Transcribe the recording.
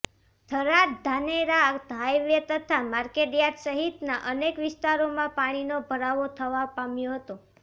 Tharad Dhanera highway તથા market yard સહિતના અનેક વિસ્તારોમાં પાણીનો ભરાવો થવા પામ્યો હતો